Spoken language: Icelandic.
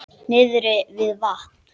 Niðri við vatn?